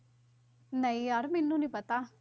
ਨਹੀਂ ਯਾਰ ਮੈਨੂੰ ਨੀ ਪਤਾ।